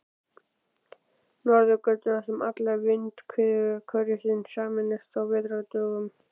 Norðurgötu, þar sem allar vindhviður hverfisins sameinast á vetrardögum.